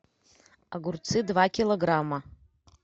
огурцы два килограмма